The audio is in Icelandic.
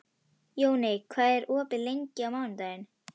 Jonni, hvað er opið lengi á mánudaginn?